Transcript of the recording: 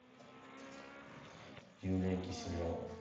юлия киселева